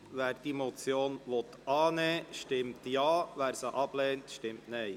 Wer diese Motion annimmt, stimmt Ja, wer diese ablehnt, stimmt Nein.